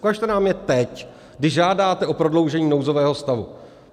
Ukažte nám je teď, kdy žádáte o prodloužení nouzového stavu.